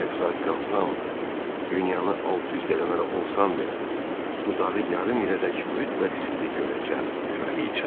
Əgər sağ qalsam, dünyanı alt-üst eləmək olsam belə, uzağı yarım ilədək mütləq sizi görəcəm, kraliçə.